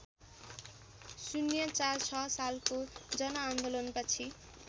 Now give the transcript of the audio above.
०४६ सालको जनआन्दोलनपछि